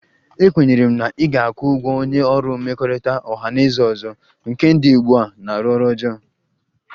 Ekwenyere m na ị ga-akwụ ụgwọ onye ọrụ mmekọrịta ọha na eze ọzọ, nke dị ugbu a na-arụ ọrụ ọjọọ